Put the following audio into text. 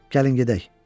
Gəlin gedək.